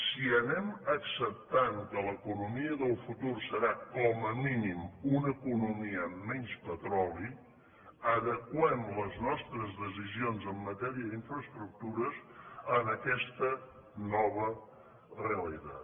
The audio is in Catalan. si anem acceptant que l’economia del futur serà com a mínim una economia amb menys petroli adeqüem les nostres decisions en matèria d’infraestructures a aquesta nova realitat